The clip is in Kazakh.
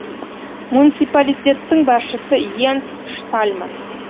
муниципалитеттің басшысы йенс штальман